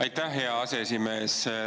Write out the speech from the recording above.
Aitäh, hea aseesimees!